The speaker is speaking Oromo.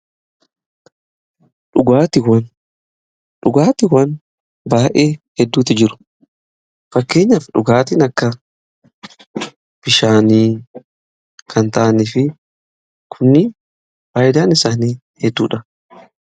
Dhugaatiwwan baay'ee hedduutu jiru, fakkeenyaaf dhugaatiin akka bishaanii kan ta'anii fi kun baay'edha isaanii hedduudha.